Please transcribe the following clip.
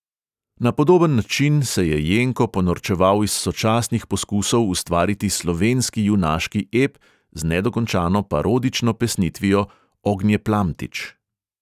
Na podoben način se je jenko ponorčeval iz sočasnih poskusov ustvariti slovenski junaški ep z nedokončano parodično pesnitvijo ognjeplamtič.